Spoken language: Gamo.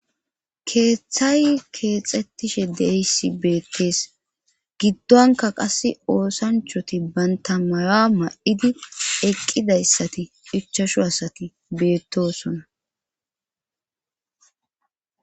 keeththay keexxettishe deyssi beekkees giddonka qass oosanchoti bantamara ma7idi eqqidayssati phichashu asati beettosona